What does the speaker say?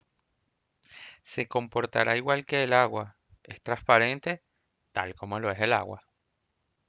se comportará igual que el agua es transparente tal como lo es el agua